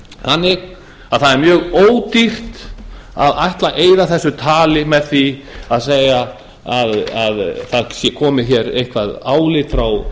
þannig að það er mjög ódýrt að ætla að eyða þessu tali með því að segja að það sé komið hér eitthvað álit frá